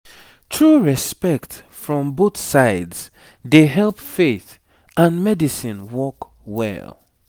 true respect from both sides dey help faith and medicine work well